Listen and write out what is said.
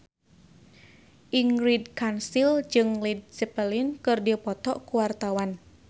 Ingrid Kansil jeung Led Zeppelin keur dipoto ku wartawan